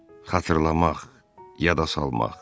Xatırlamaq, yada salmaq.